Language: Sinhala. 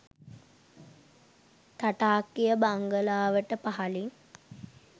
තටාකය බංගලාවට පහළින්